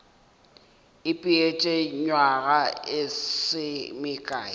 ipeetše nywaga e se mekae